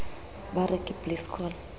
ba re ke please call